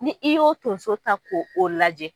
Ni i y'o tonso ta k'o o lajɛ